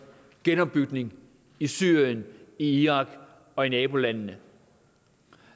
genopbygning i syrien i irak og i nabolandene